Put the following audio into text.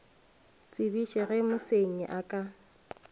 tsebiše ge mosenyi a ka